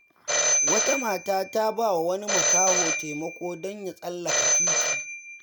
Wata mata ta ba wa wani makaho taimako don ya tsallaka titi.